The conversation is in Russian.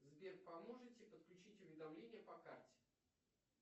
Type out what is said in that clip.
сбер поможете подключить уведомления по карте